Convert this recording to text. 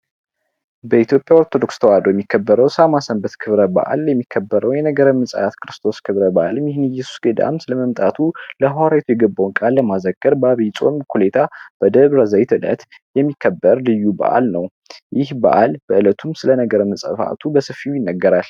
የኢትዮጲያ ኦርቶዶክስ ቤተክርስቲያን የሚከበረው ሰንበት የነገረ መዝሙር ክርስቶስ ክብረ በዓል ገዳማት ውስጥ በመምጣቱ ለሐዋርያት የገባውን ቃል በአብይ ጾም አጠገብ በደብረ ዘይት የሚከበር በአለው በአል በእለቱ ነገረ ስብዓቱ በሰፊው ይነገራል።